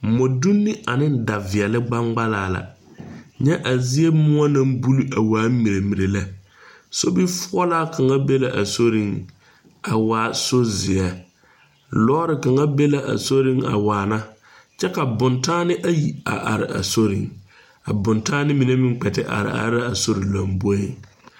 Moɔ dunne ane da viɛle gbangbalaa la. Nyɛ a zie muo na bul a waa mirɛmirɛ lɛ. Sobi fuolaa kanga be la a soreŋ a waa sor zie. Lɔre kanga be la a soreŋ a waana. Kyɛ ka boŋtaane ayi a are a soreŋ. A boŋtaane mene meŋ kpɛ te are are a sore lombɔeŋ